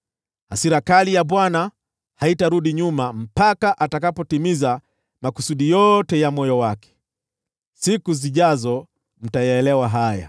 Hasira kali ya Bwana haitarudi nyuma mpaka atakapotimiza makusudi yote ya moyo wake. Siku zijazo mtayaelewa haya.